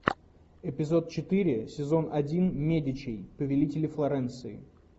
эпизод четыре сезон один медичи повелители флоренции